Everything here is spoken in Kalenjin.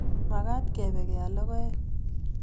Magat kepe keal logoek